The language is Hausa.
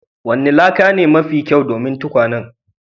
Wanni laka ne mafi kyau domin tukwanen?